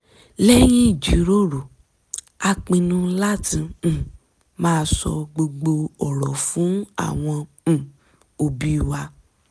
lẹ́yìn jíròrò a pinnu láti um má sọ gbogbo ọ̀rọ̀ fún àwọn um òbí wa